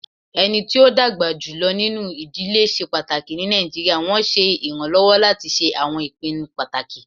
Ẹni tí ó dàgbà jùlọ nínú ìdílé ṣe pàtàkì ní Nàìjíríà, wọn ṣe iranlọwọ lati ṣe awọn ipinnu pataki.